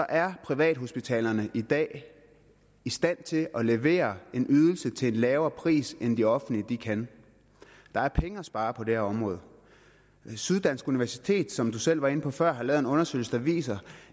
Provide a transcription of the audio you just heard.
er privathospitalerne i dag i stand til at levere en ydelse til en lavere pris end de offentlige kan der er penge at spare på det her område syddansk universitet som selv var inde på før har lavet en undersøgelse der viser